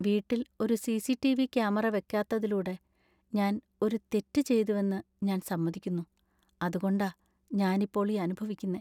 വീട്ടിൽ ഒരു C. C. T. V. Camera വെക്കാത്തതിലൂടെ ഞാൻ ഒരു തെറ്റ് ചെയ്തുവെന്ന് ഞാൻ സമ്മതിക്കുന്നു, അതുകൊണ്ടാ ഞാൻ ഇപ്പോൾ ഈ അനുഭവിക്കുന്നെ .